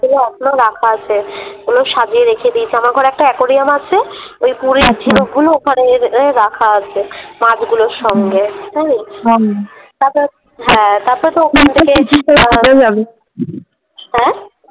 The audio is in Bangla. ওগুলো এখনো রাখা আছে ওগুলো সাজিয়ে রেখে দিয়েছি আমার ঘরে একটা অ্যাকোরিয়াম আছে আচ্ছা ওই পুরীর ঝিনুক গুলো ওখানে রাখা আছে, মাছ গুলোর সঙ্গে। হুম তারপরে হ্যাঁ তারপরেতো ওখান থেকে আ